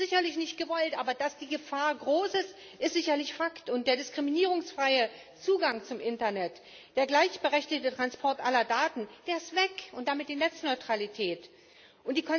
Das ist sicherlich nicht gewollt, aber dass die Gefahr groß ist, ist sicherlich Fakt, und der diskriminierungsfreie Zugang zum Internet, der gleichberechtigte Transport aller Daten und damit die Netzneutralität ist